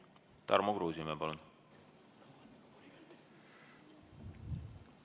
Tarmo Kruusimäe, palun!